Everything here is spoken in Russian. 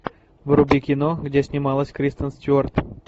вруби кино где снималась кристен стюарт